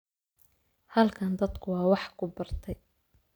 Halkan, dadku waa wax ku bartay